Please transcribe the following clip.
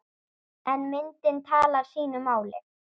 En myndin talar sínu máli.